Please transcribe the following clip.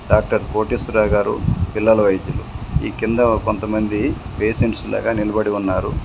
Doctor Koteswararao గారు పిల్లల వైద్యులు ఈ కింద కొంతమంది పేషెంట్స్ లాగా నిలబడి ఉన్నారు.